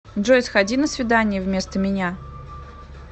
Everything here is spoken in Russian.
джой сходи на свидание вместо меня